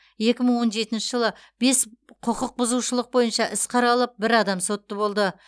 екі мың он жетінші жылы бес құқық бұзушылық бойынша іс қаралып бір адам сотты болды